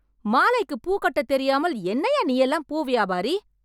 மாலைக்கு பூ கட்ட தெரியாமல் என்னையா நீ எல்லாம் பூ வியாபாரி